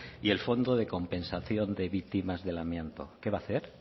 y el fondo de compensación de víctimas del amianto qué va a hacer